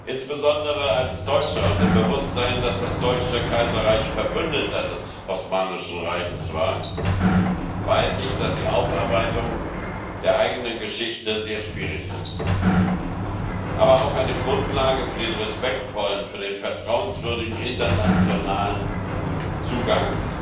Insbesondere als Deutscher und im Bewusstsein, dass das Deutsche Kaiserreich Verbündeter des Osmanischen Reichs war, weiß ich, dass die Aufarbeitung der eigenen Geschichte sehr schwierig ist, aber auch eine Grundlage für den respektvollen, den vertrauenswürdigen internationalen Zugang